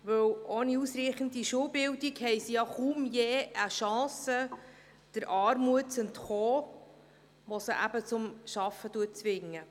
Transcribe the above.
Denn ohne ausreichende Schulbildung haben sie kaum je eine Chance, der Armut zu entkommen, die sie zur Arbeit zwingt.